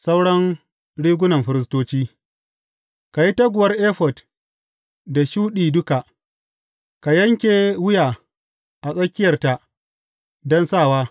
Sauran rigunan firistoci Ka yi taguwar efod da shuɗi duka, ka yanke wuya a tsakiyarta don sawa.